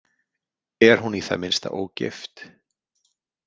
Er hún í það minnsta ógift?